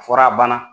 Fɔra a banna